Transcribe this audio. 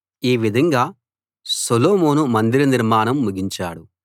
ఈ విధంగా సొలొమోను మందిర నిర్మాణాన్ని ముగించాడు